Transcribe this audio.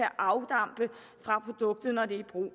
afdampe fra produktet når det er i brug